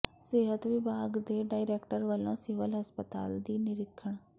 ਸਿਹਤ ਵਿਭਾਗ ਦੇ ਡਾਇਰੈਕਟਰ ਵੱਲੋਂ ਸਿਵਲ ਹਸਪਤਾਲ ਦਾ ਨਿਰੀਖਣ